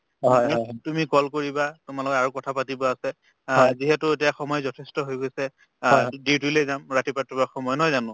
to তুমি তুমি call কৰিবা তোমাৰ লগত আৰু কথা পাতিব আছে আ যিহেতু এতিয়া সময় যথেষ্ট হৈ গৈছে আৰুতো duty লে যাম ৰাতিপুৱাৰতোয়ে সময় নহয় জানো